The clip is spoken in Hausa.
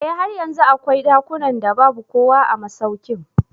Eh har yanzu akwai dakunan da babu kowa a masaukin.